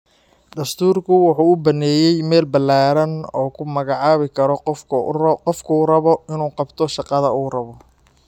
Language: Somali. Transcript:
Dastuurku wuxuu u banneeyay meel ballaaran oo uu ku magacaabi karo qofka uu rabo inuu qabto shaqada uu rabo.